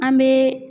An bɛ